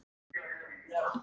Ég veit það varla, Garðar.